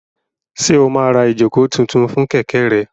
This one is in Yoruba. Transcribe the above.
Ṣé o máa ra ìjókòó tuntun fún kẹ̀kẹ́ rẹ?